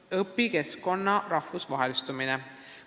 ] õpikeskkonna rahvusvahelistumine?